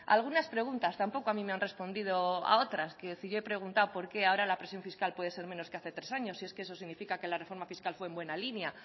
a algunas preguntas tampoco a mí me han respondido a otros quiero decir yo he preguntado por qué ahora la presión fiscal puede ser menos que hace tres años si es que eso significa que la reforma fiscal fue en buena línea